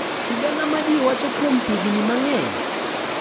Sigana ma ji wacho kuom higni mang’eny